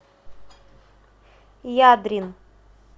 ядрин